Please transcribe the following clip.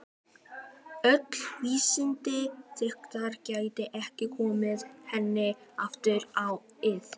Öll vísindi ykkar geta ekki komið henni aftur á ið.